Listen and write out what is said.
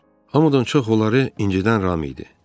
Hamıdan çox onları incidən Ram idi.